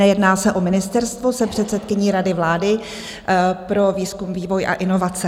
Nejedná se o ministerstvo, jsem předsedkyní Rady vlády pro výzkum, vývoj a inovace.